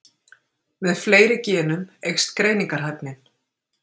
Með fleiri genum eykst greiningarhæfnin.